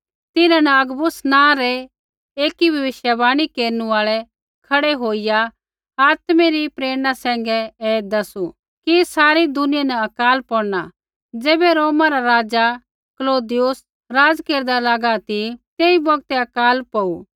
तिन्हां न अगबुस नाँ रै एकी भविष्यवाणी केरनु आल़ै खड़ै होईया आत्मै री प्रेरणा सैंघै ऐ दैसू कि सारै दुनिया न अकाल पौड़ना ज़ैबै रोमा रा राज़ा क्लौदियुस राज़ केरदा लागा ती तेई बौगतै अकाल पौड़ू